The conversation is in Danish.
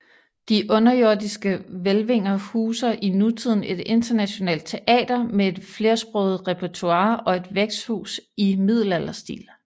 De underjordiske hvælvinger huser i nutiden et internationalt teater med et flersproget repertoire og et værtshus i middelalderstil